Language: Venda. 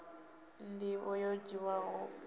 nḓivho yo dziaho tshoṱhe ya